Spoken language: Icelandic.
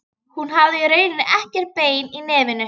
Hún hafði í rauninni ekkert bein í nefinu.